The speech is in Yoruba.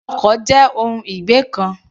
Ọkọ̀ jẹ́ ohun ìgbé ǹkan.